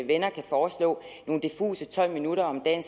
venner kan foreslå nogle diffuse tolv minutter om dagen